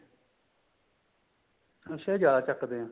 ਅੱਛਾ ਜਿਆਦਾ ਚੱਕਦੇ ਏ